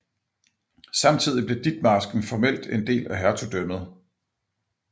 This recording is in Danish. Samtidig blev Ditmarsken formelt en del af hertugdømmet